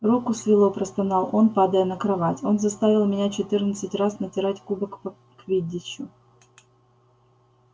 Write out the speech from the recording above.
руку свело простонал он падая на кровать он заставил меня четырнадцать раз натирать кубок по квиддичу